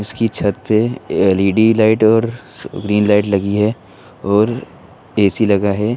इसकी छत पे एल_इ_डी लाइट और ग्रीन लाइट लगी है और ए_सी लगा है।